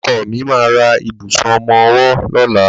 Ọkọ mi ma ra ìbùsùn ọmọwọ́ lọ́la.